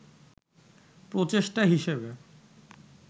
প্রচেষ্টা হিসেবে